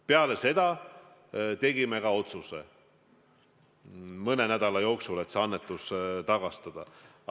Peale seda tegime ka mõne nädala jooksul otsuse, et see annetus tuleb tagastada.